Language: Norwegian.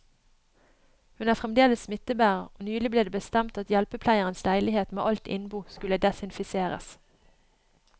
Hun er fremdeles smittebærer, og nylig ble det bestemt at hjelpepleierens leilighet med alt innbo skulle desinfiseres.